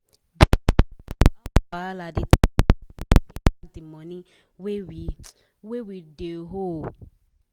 d arranging of house wahala de take our time to pay back d money wey we wey we de owe